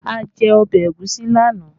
A jẹ ọbẹ̀ ẹ̀gúsí lánàá